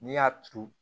N'i y'a turu